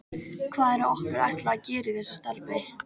Hvað er okkur ætlað að gera í þessu starfi?